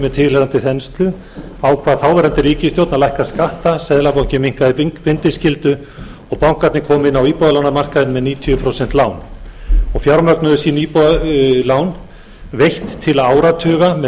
með tilheyrandi þenslu ákvað þáverandi ríkisstjórn að lækka skatta seðlabankinn minnkaði bindiskyldu og bankarnir komu inn á íbúðalánamarkaðinn með níutíu prósent lán og fjármögnuðu sín íbúðarlán veitt til áratuga með